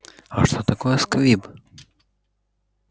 а что такое сквиб